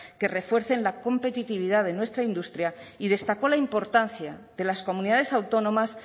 que refuercen la competitividad de nuestra industria y destacó la importancia de las comunidades autónomas